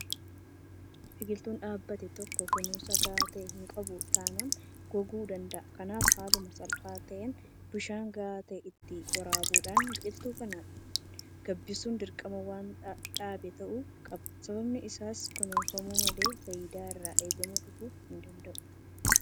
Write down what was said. Biqiltuun dhaabbate tokko kunuunsa gahaa ta'e hinqabu taanaan goguu danda'a. Kanaaf haaluma salphaa ta'een bishaan gahaa ta'e itti waraabuudhaan biqiltuu kana gabbisuun dirqama warra dhaabee ta'uu qaba. Sababni isaas kunuunfamu malee faayidaan irraa eegamu dhufuu hindanda'u.